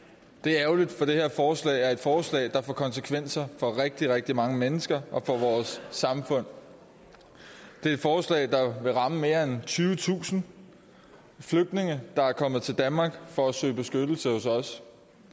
det er ærgerligt for det her forslag er et forslag der får konsekvenser for rigtig rigtig mange mennesker og for vores samfund det er et forslag der vil ramme mere end tyvetusind flygtninge der er kommet til danmark for at søge beskyttelse hos os